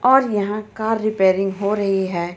और यहाँ car repairing हो रही हे.